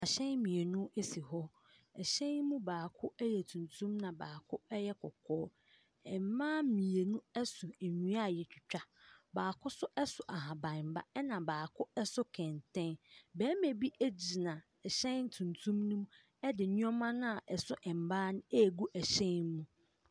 Ahyɛn mmienu esi hɔ. Ahyɛn yi mu baako ɛyɛ tuntum na baako ɛyɛ kɔkɔɔ. Mmaa mmienu ɛso nnua a yɛatwitwa. Baako nso ɛso ahaban ba ɛna baako ɛso kɛntɛn. Bɛrima bi egyina ɛhyɛn tuntum nim ɛde nneɛma na a ɛso mmaa no egu ɛhyɛn mu.